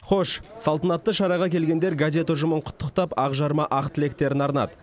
хош салтанатты шараға келгендер газет ұжымын құттықтап ақжарма ақ тілектерін арнады